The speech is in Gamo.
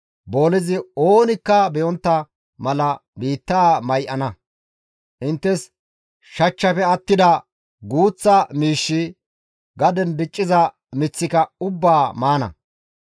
Boolezi oonikka be7ontta mala biittaa may7ana. Inttes shachchaafe attida guuththa miishshi, gaden dicciza miththika ubbaa maana.